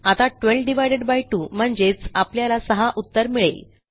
आता 12 2 म्हणजेच आपल्याला 6 उत्तर मिळेल